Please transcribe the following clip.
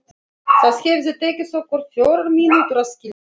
Það hefði tekið okkur fjórar mínútur að skilja.